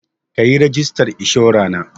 Kayi rigistar kamfanin